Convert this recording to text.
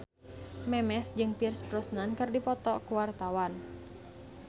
Memes jeung Pierce Brosnan keur dipoto ku wartawan